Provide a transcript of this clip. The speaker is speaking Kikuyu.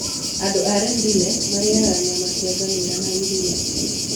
Andũ a Rendille marĩĩaga nyama cia ngamĩĩra na iria.